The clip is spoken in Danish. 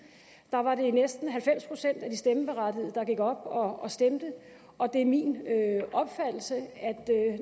var det næsten halvfems procent af de stemmeberettigede der gik op og stemte og det er min opfattelse at